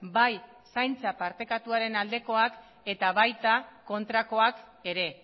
bai zaintza partekatuaren aldekoak eta baita kontrakoak ere